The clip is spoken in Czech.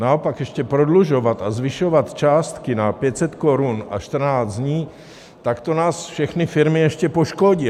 Naopak, ještě prodlužovat a zvyšovat částky na 500 korun a 14 dní, tak to nás, všechny firmy, ještě poškodí.